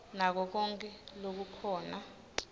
nako konkhe lokukhona